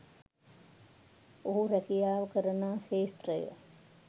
ඔහු රැකියාව කරනා ක්ෂේත්‍රයේ